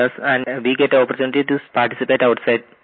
so that we get opportunity to participate outside